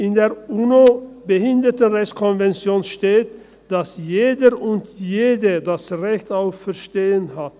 In der UN-Behindertenrechtskonvention steht, dass jeder und jede das Recht auf Verstehen hat.